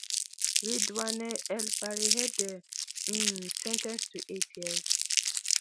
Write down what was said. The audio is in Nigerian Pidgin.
redouane el farihidey um sen ten ced to eight years